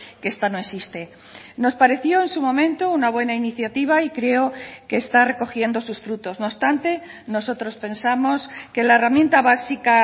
que esta no existe nos pareció en su momento una buena iniciativa y creo que está recogiendo sus frutos no obstante nosotros pensamos que la herramienta básica